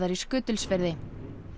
í Skutulsfirði